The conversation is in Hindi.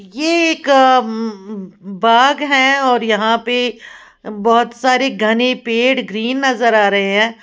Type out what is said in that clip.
ये एक उम् बाग है और यहां पे बहोत सारे घने पेड़ ग्रीन नजर आ रहे हैं।